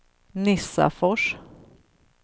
Nissafors